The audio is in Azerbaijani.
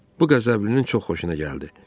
Bu qəzəblinin çox xoşuna gəldi.